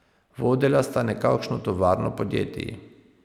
Vodila sta nekakšno tovarno podjetij.